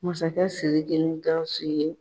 Masakɛ Siriki ni Gawusu ye